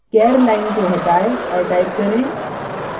char line को हटाएँ और type करें